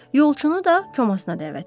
Yolçunu da komasına dəvət edir.